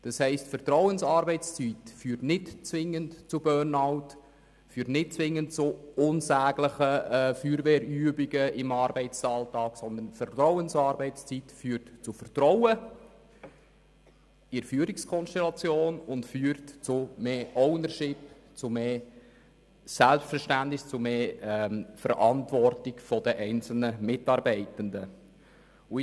Das bedeutet, dass Vertrauensarbeitszeit nicht zwingend zu Burnout und unsäglichen Feuerwehrübungen im Arbeitsalltag, sondern zu Vertrauen in die Führungskonstellation und zu mehr Ownership, Selbstverständnis und mehr Verantwortung der einzelnen Mitarbeitenden führt.